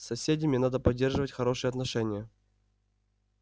с соседями надо поддерживать хорошие отношения